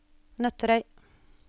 Nøtterøy